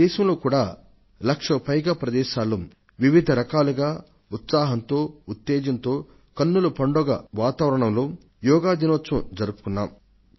భారతదేశంలోనూ ఒక లక్షకు పైగా ప్రదేశాలలో మనపూర్వకత ఉత్సాహాలతో వివిధ రూపాలలో వర్ణాలలో ఆనందదాయకమైన వాతావరణంలో అంతర్జాతీయ యోగా దినాన్ని జరిపాం